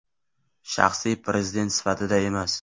Shaxsiy prezident sifatida emas.